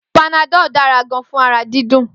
Panadol dára gan fún ara dídùn